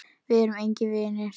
Við erum engir vinir.